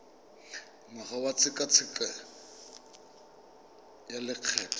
ngwaga wa tshekatsheko ya lokgetho